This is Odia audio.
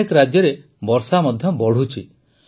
ଅନେକ ରାଜ୍ୟରେ ବର୍ଷା ମଧ୍ୟ ବଢ଼ୁଛି